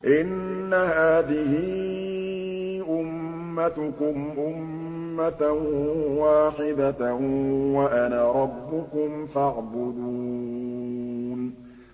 إِنَّ هَٰذِهِ أُمَّتُكُمْ أُمَّةً وَاحِدَةً وَأَنَا رَبُّكُمْ فَاعْبُدُونِ